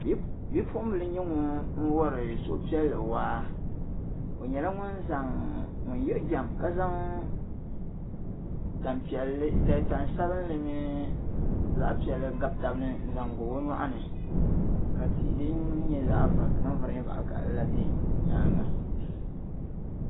Bipuɣibila nyɛ ŋuni wari suhupiɛlli waa o nyɛla ŋuni zaŋ ŋuni yiɣijɛm tanpiɛlli tansabinli zaɣ'piɛlli gabitabini m pa o nyɔɣini ka tihi di nyɛ vari nya zaɣi vakahili bɛ o nyaaŋa.